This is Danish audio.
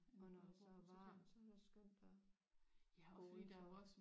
Og når det så er varmt så er det også skønt at gå udenfor